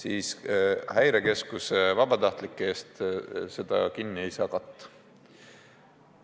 Aga Häirekeskuse vabatahtlike ees seda kinni ei saa panna.